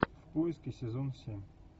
в поиске сезон семь